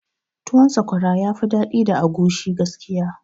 Tuwon sakwara yafi daɗi da agushi gaskiya